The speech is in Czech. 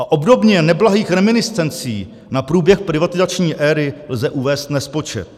A obdobně neblahých reminiscencí na průběh privatizační éry lze uvést nespočet.